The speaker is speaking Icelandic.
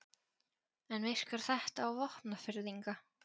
En virkar þetta á Vopnfirðinga?